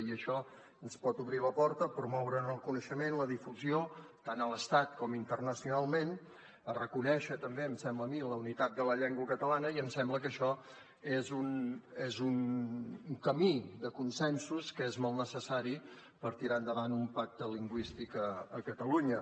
i això ens pot obrir la porta a promoure’n el coneixement la difusió tant a l’estat com internacionalment a reconèixer també em sembla a mi la unitat de la llengua catalana i em sembla que això és un camí de consensos que és molt necessari per tirar endavant un pacte lingüístic a catalunya